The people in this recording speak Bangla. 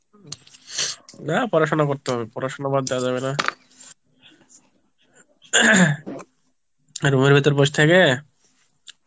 না পড়াশোনা করতে হবে পড়াশোনা বাদ দেয়া যাবে না রুমের ভিতর বস থেকে